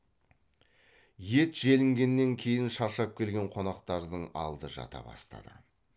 ет желінгеннен кейін шаршап келген қонақтардың алды жата бастады